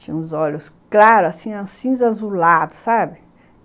Tinha uns olhos claros, assim, cinza azulado, sabe?